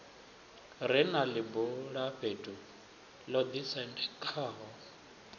re na ḽibulafhethu ḽo ḓisendekaho